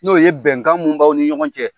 N'o ye bɛnkan mun baw ni ɲɔgɔn cɛ